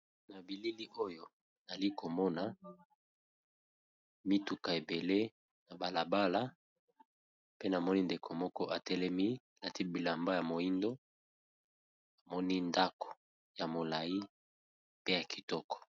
Na bilili oyo ali komona mituka ebele na balabala pe namoni ndeko moko atelemi lati bilamba ya moindo amoni ndako ya molai pe ya kitoko.